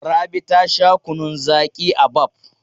Rabi ta sha kunnun zaƙi a Baff.